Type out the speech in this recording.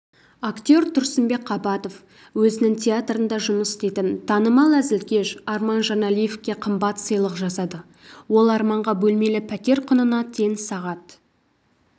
актер тұрсынбек қабатов өзінің театрында жұмыс істейтін танымал әзілкеш арман жаналиевқа қымбат сыйлық жасады ол арманға бөлмелі пәтер құнына тең сағат